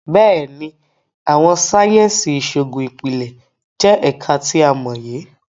Béèni, Awọn sáyẹnsì Iṣoogun Ipilẹ jẹ ẹka ti a mọye